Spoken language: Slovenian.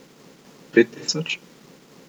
Pet tisoč?